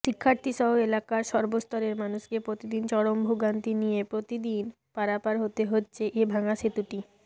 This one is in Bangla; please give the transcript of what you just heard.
শিক্ষার্থীসহ এলাকার সর্বস্তরের মানুষকে প্রতিদিন চরম ভোগান্তি নিয়ে প্রতিদিন পারাপার হতে হচ্ছে এ ভাঙা সেতুটি